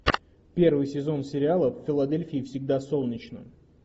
первый сезон сериала в филадельфии всегда солнечно